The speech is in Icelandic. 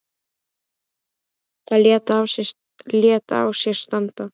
Það lét á sér standa.